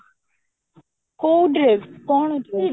କୋଉ dress କଣ dress